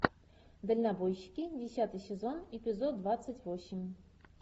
дальнобойщики десятый сезон эпизод двадцать восемь